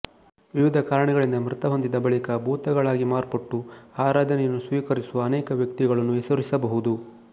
ವಿವಿಧ ಕಾರಣಗಳಿಂದ ಮೃತಹೊಂದಿದ ಬಳಿಕ ಭೂತಗಳಾಗಿ ಮಾರ್ಪಟ್ಟು ಆರಾಧನೆಯನ್ನು ಸ್ವೀಕರಿಸುವ ಅನೇಕ ವ್ಯಕ್ತಿಗಳನ್ನು ಹೆಸರಿಸಬಹುದು